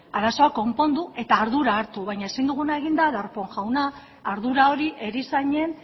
arazo konpondu eta ardura hartu baina ezin duguna egin da darpón jauna ardura hori erizainen